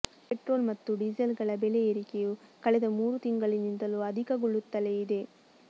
petrol ಮತ್ತು ಡೀಸೆಲ್ಗಳ ಬೆಲೆ ಏರಿಕೆಯು ಕಳೆದ ಮೂರು ತಿಂಗಳಿನಿಂದಲು ಅಧಿಕಗೊಳ್ಳುತ್ತಲೆ ಇದೆ